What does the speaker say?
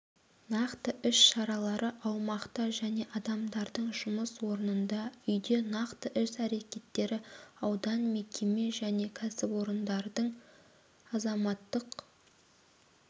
нақты іс-шаралары аумақта және адамдардың жұмыс орнында үйде нақты іс-әрекеттері аудан мекеме және кәсіпорындардың азаматтық